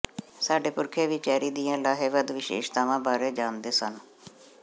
ਸਾਡੇ ਪੁਰਖੇ ਵੀ ਚੈਰੀ ਦੀਆਂ ਲਾਹੇਵੰਦ ਵਿਸ਼ੇਸ਼ਤਾਵਾਂ ਬਾਰੇ ਜਾਣਦੇ ਸਨ